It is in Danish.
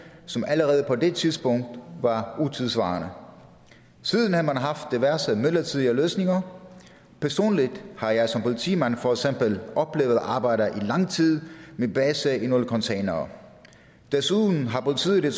som allerede på det tidspunkt var utidssvarende siden har man haft diverse midlertidige løsninger personligt har jeg som politimand for eksempel oplevet at arbejde i lang tid med base i nogle containere desuden har politiet